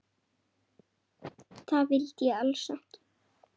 Það vildi ég alls ekki.